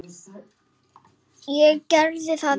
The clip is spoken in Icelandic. Ég gerði þetta, já.